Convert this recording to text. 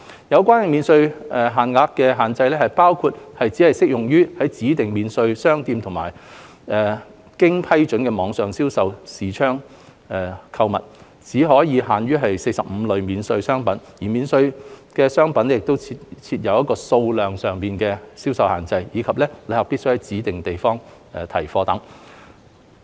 有關免稅額設有限制，包括只適用於在指定免稅商店內或經批准的網上銷售視窗購物；只可購買45類免稅商品；免稅商品設有數量限制；以及旅客必須在指定地點提貨。